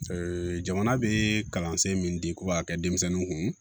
jamana bɛ kalansen min di k'u b'a kɛ denmisɛnninw kun